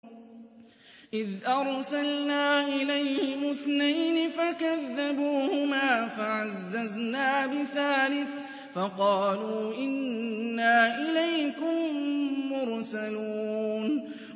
إِذْ أَرْسَلْنَا إِلَيْهِمُ اثْنَيْنِ فَكَذَّبُوهُمَا فَعَزَّزْنَا بِثَالِثٍ فَقَالُوا إِنَّا إِلَيْكُم مُّرْسَلُونَ